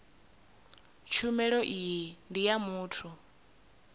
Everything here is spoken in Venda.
tshumelo iyi ndi ya muthu